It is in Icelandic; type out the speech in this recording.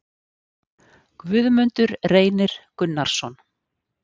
Guðmundur Reynir Gunnarsson